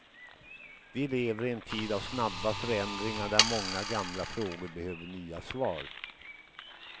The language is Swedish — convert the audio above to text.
Vi lever i en tid av snabba förändringar där många gamla frågor behöver nya svar.